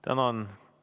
Tänan!